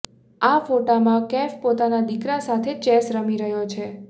આ ફોટોમાં કૈફ પોતાના દીકરા સાથે ચેસ રમી રહ્યો છે